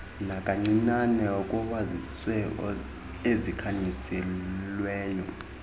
nakancinane kowezizwe ezikhanyiselweyo